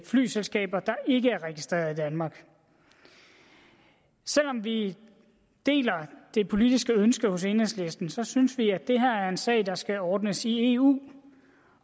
flyselskaber der ikke er registreret i danmark selv om vi deler det politiske ønske hos enhedslisten så synes vi at det her er en sag der skal ordnes i eu